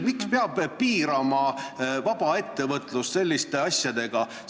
Miks peab piirama vaba ettevõtlust selliste asjadega?